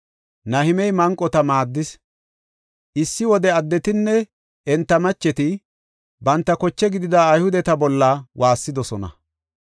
Issi wode addetinne enta macheti banta koche gidida Ayhudeta bolla waassidosona.